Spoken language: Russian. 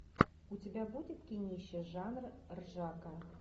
у тебя будет кинище жанр ржака